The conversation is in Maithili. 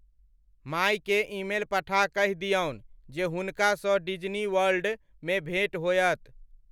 मायकेँ ईमेल पठा कहि दियनु जे हुनका सँ डिज्नी वर्ल्ड मे भेंट होयत।